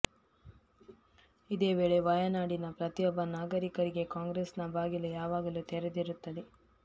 ಇದೇ ವೇಳೆ ವಯನಾಡಿನ ಪ್ರತಿಯೊಬ್ಬ ನಾಗರಿಕರಿಗೆ ಕಾಂಗ್ರೆಸ್ನ ಬಾಗಿಲು ಯಾವಾಗಲೂ ತೆರೆದಿರುತ್ತದೆ